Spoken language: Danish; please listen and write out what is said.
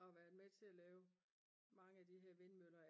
og har været med til at lave mange af de her vindmøller